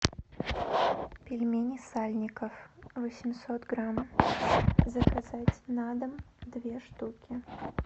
пельмени сальников восемьсот грамм заказать на дом две штуки